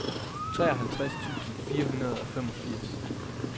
treoghalvtreds tusind fire hundrede og femogfirs